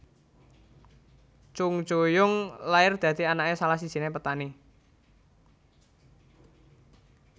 Chung Ju Yung lair dadi anaké salah sijiné petani